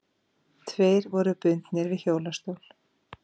Tveir voru bundnir við hjólastól.